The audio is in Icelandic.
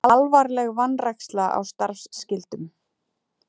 Alvarleg vanræksla á starfsskyldum